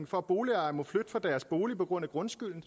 for at boligejere må flytte fra deres bolig på grund af grundskylden